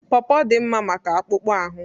Pọrpọr dị mma maka akpụkpọ ahụ.